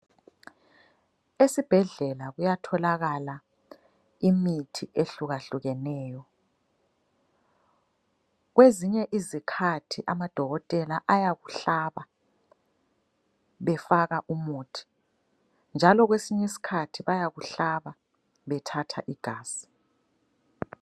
Esibhedlela kuyathokala imithi ehlukahlukeneyo. Kwezinye izikhathi amadokotela ayakuhlaba befaka umuthi njalo kwesinye isikhathi bayakuhlaba bethatha igazi.